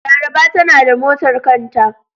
Laraba tanada motar kanta.